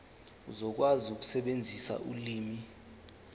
uzokwazi ukusebenzisa ulimi